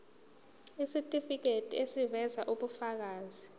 isitifiketi eziveza ubufakazi